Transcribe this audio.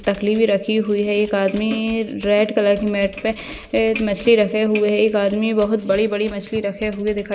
तकली भी रखी हुई है एक आदमी रेड कलर के मॅट पे एक मछ्ली रखे हुए है एक आदमी बहुत बड़ी-बड़ी मछ्ली रखे हुए दिखाई--